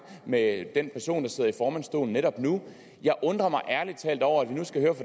med den person der sidder i formandsstolen netop nu jeg undrer mig ærlig talt over at vi nu skal høre